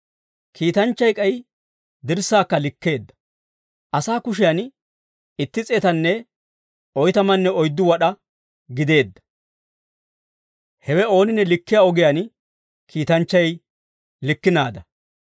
Kiitanchchay k'ay dirssaakka likkeedda. Asaa kushiyan itti s'eetanne oytamanne oyddu wad'aa gideedda. Hewe ooninne likkiyaa ogiyaan kiitanchchay likkinaada.